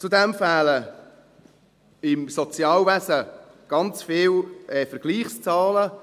Zudem fehlen im Sozialwesen ganz viele Vergleichszahlen.